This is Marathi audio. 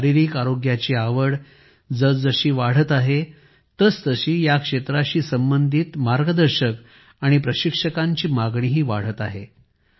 शारीरिक आरोग्याची आवड जसजशी वाढत आहे तसतशी या क्षेत्राशी संबंधित प्रशिक्षकांची मागणीही वाढत आहे